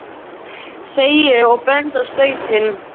segi ég og bendi á stautinn.